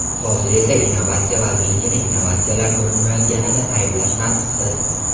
Hozir esa innovatsiya vazirligini innovatsiyalar ko‘rinmayotganida ayblash mantiqsiz.